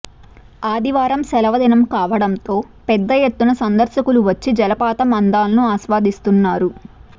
ఆదివారం సెలవు దినం కావడంతో పెద్ద ఎత్తున సందర్శకులు వచ్చి జలపాతం అందాలను ఆస్వాదిస్తున్నారు